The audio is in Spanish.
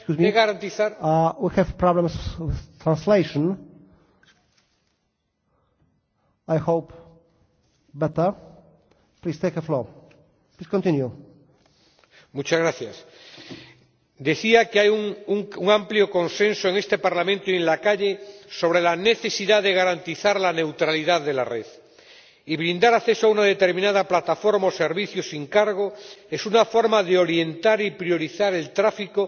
Hay un amplio consenso en este Parlamento y en la calle sobre la necesidad de garantizar la neutralidad de la red, y brindar acceso a una determinada plataforma o servicio sin cargo es una forma de orientar y priorizar el tráfico